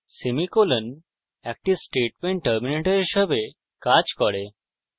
semicolon acts statement terminator হিসাবে কাজ করে